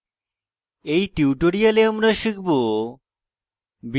in tutorial আমরা শিখব